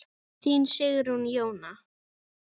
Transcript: Þín Sigrún Jóna.